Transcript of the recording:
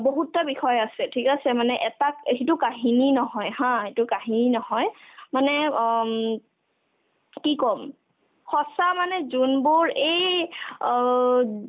বহুতটা বিষয় আছে ঠিক আছে মানে এটাক এ সিটো কাহিনী নহয় haa সিটো কাহিনী নহয় মানে অ উম কি ক'ম সঁচা মানে যোনবোৰ এই অ ওব